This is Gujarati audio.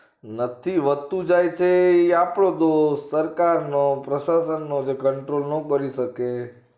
નથી વધતું જાય છે એ આપડો દોષ સરકારનો પ્રસાસનનો જે control નો મળી શકે